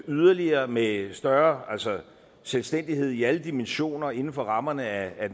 yderligere med større selvstændighed i alle dimensioner inden for rammerne af